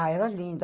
Ah, era lindo.